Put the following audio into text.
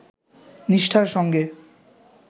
নিষ্ঠার সঙ্গে